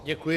Děkuji.